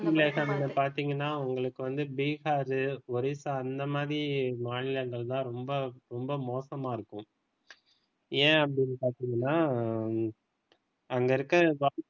பத்திங்கன்னா உங்களுக்கு வந்து பீகார் ஒரிசா அந்த மாதிரி மாநிலங்கள் தான் ரொம்ப ரொம்ப மோசமா இருக்கு ஏன் அப்படினு பார்த்தீங்கனா அங்க இருக்கிற